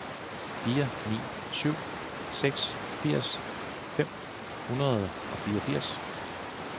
fire ni syv seks firs fem hundrede og fireogfirs